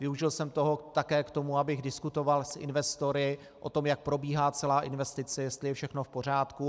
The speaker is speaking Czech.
Využil jsem toho také k tomu, abych diskutoval s investory o tom, jak probíhá celá investice, jestli je všechno v pořádku.